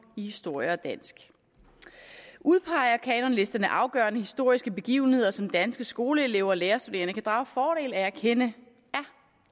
i historie og dansk udpeger kanonlisterne afgørende historiske begivenheder som danske skoleelever og lærerstuderende kan drage fordel af at kende